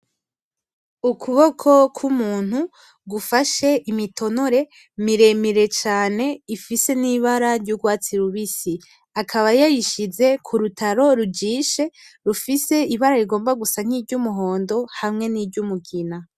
Ukuboko kw'umuntu gufashe imitonore miremire cane ifise n'ibara ry'urwatsi rubisi , akaba yayishize kurutaro rujishe rufise ibara rigomba gusa niry'umuhondo hamwe niry'umugina.